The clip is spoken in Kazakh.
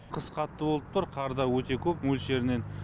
қыс қатты болып тұр қар да өте көп мөлшерінен